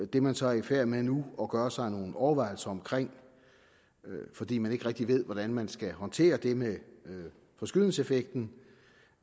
det man så er i færd med nu at gøre sig nogle overvejelser om fordi man ikke rigtig ved hvordan man skal håndtere det med forskydelseseffekten